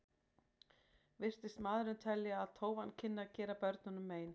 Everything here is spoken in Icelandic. Virtist maðurinn telja að tófan kynni að gera börnunum mein.